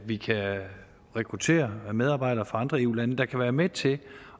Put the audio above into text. vi kan rekruttere medarbejdere fra andre eu lande der kan være med til